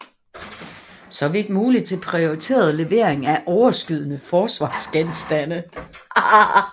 Så vidt muligt til prioriteret levering af overskydende forsvarsgenstande